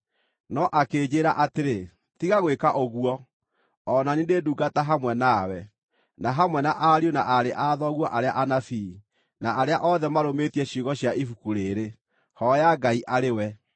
No akĩnjĩĩra atĩrĩ, “Tiga gwĩka ũguo! O na niĩ ndĩ ndungata hamwe nawe, na hamwe na ariũ na aarĩ a thoguo arĩa anabii, na arĩa othe marũmĩtie ciugo cia ibuku rĩĩrĩ. Hooya Ngai arĩ we!”